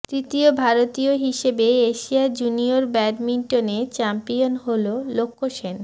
তৃতীয় ভারতীয় হিসেবে এশিয়া জুনিয়র ব্যাডমিন্টনে চ্যাম্পিয়ন হল লক্ষ্য সেন